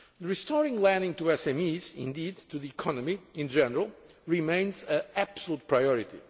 Restoring lending to SMEs, indeed to the economy in general, remains an absolute priority.